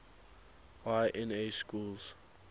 y na schools